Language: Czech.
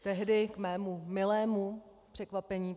Tehdy k mému milému překvapení